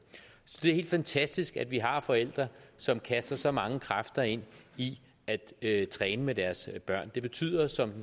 er helt fantastisk at vi har forældre som kaster så mange kræfter ind i at træne med deres børn det betyder som